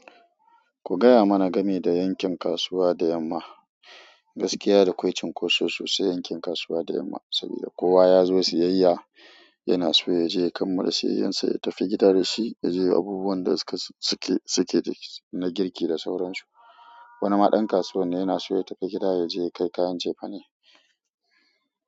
Ku gaya mana game da yankin kasuwa da yamma, gaskiya dakwai cinkoso sosai yankin kasuwa da yamma saboda kowa ya zo siyayya yana so ya je kanmala siyayyar sa ya tafi gida da shi, ya je yayi abubuwan da suke, suke, suke na girki da sauran su. Wani ma ɗan kasuwa ne yana so ya tafi gida ya je ya kai kayan cefane.